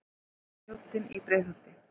Mjóddin í Breiðholti.